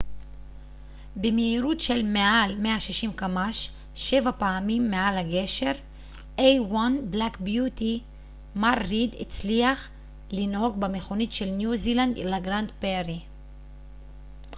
מר ריד הצליח לנהוג במכונית של ניו זילנד לגרנד פרי a1 black beauty במהירות של מעל 160 קמ ש שבע פעמים מעל הגשר